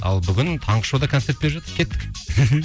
ал бүгін таңғы шоуда концерт беріп жатыр кеттік